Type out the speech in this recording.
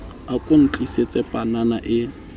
a ko ntlisetse panana e